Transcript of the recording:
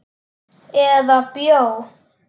Eða bjó.